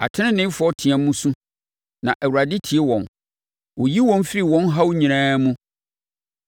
Ateneneefoɔ team su, na Awurade tie wɔn; ɔyi wɔn firi wɔn haw nyinaa mu.